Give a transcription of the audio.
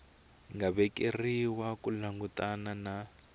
nga vekeriwa ku langutana na